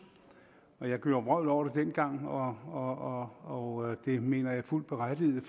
jeg gjorde vrøvl over det dengang og og det mener jeg er fuldt berettiget